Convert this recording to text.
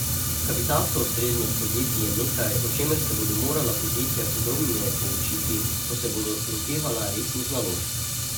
Kapitalska ustreznost podjetij je nekaj, o čemer se bodo morala podjetja podrobneje poučiti, ko se bodo lotevala resnih naložb.